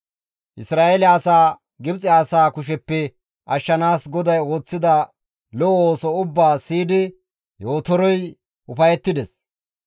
Isra7eele asaa, Gibxe asaa kusheppe ashshanaas GODAY ooththida lo7o ooso ubbaa siyidi Yootorey ufayettides.